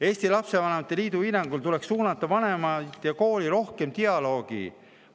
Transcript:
Eesti Lastevanemate Liidu hinnangul tuleks suunata vanemaid ja kooli rohkem dialoogi.